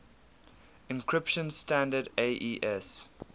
encryption standard aes